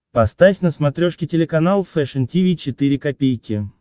поставь на смотрешке телеканал фэшн ти ви четыре ка